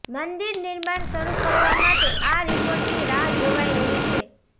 મંદિર નિર્માણ શરૂ કરવા માટે આ રિપોર્ટની રાહ જોવાઇ રહી છે